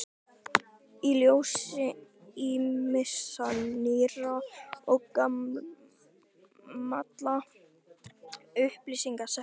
Í ljósi ýmissa nýrra og gamalla upplýsinga setti